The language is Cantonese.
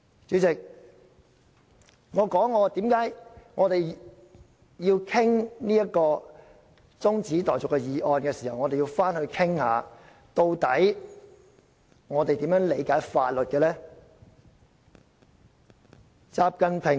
主席，讓我解釋為何我們討論中止待續議案時，要討論究竟我們如何理解法律。